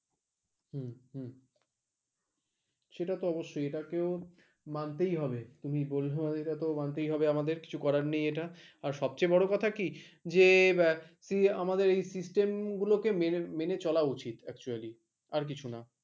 সেটা তো অবশ্যই এটাকেও মানতেই হবে তুমি বুঝবে সেটা তো মানতেই হবে আমাদের কিছু করার নেই এটা সবচেয়ে বড় কথা কি। যে actually আমাদের মেনে চলে মেনে চলা উচিত actually আর কিছু না ।